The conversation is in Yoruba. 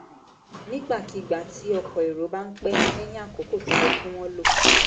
nígbàkigbà tí ọkọ̀ èrò bá ń pẹ́ lẹ́yìn àkókò tó yẹ kí wọ́n lò